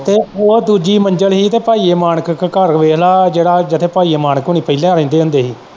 ਤੇ ਉਹ ਦੂਜੀ ਮੰਜਲ ਹੀ ਤੇ ਭਾਈਏ ਮਾਣਕ ਦੇ ਘਰ ਵੇਖਲਾ ਜਿਹੜਾ ਜਿੱਥੇ ਭਾਈਏ ਮਾਣਕ ਹੋਣੀ ਪਹਿਲਾਂ ਰਹਿੰਦੇ ਹੁੰਦੇ ਹੀ।